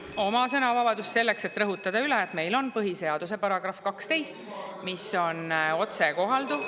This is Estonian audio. Kasutan oma sõnavabadust selleks, et rõhutada üle: meil on põhiseaduse § 12, mis on otsekohalduv.